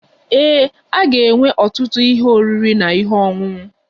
Ee, a ga-enwe ọtụtụ ihe oriri na ihe ọṅụṅụ.